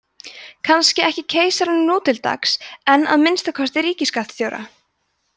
kannski ekki keisaranum nú til dags en að minnsta kosti ríkisskattstjóra